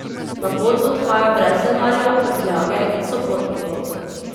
Na pot odhaja brez denarja, prtljage in sopotnikov.